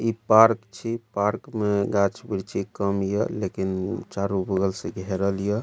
इ पार्क छी पार्क में गाछ-वृक्ष के काम हिय लेकिन अअ चारो बगल से घेरल हिया।